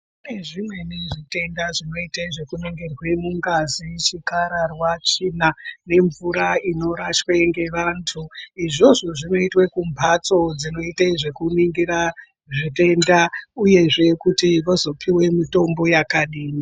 Kune zvimweni zvitenda zvinoite zvekuningirwe mungazi chikararwa, tsvina nemvura inorashwe ngevantu. Izvozvo zvinotwe kumhatso dzinoite nezvekuningira zvitenda, uyezve kuti vozopive mutombo vakadini.